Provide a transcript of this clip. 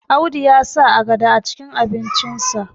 Audu ya sa agada acikin abincinsa